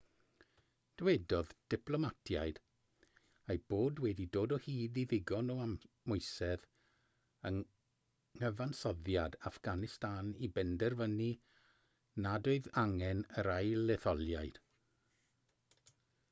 dywedodd diplomatiaid eu bod wedi dod o hyd i ddigon o amwysedd yng nghyfansoddiad affganistan i benderfynu nad oedd angen yr ail-etholiad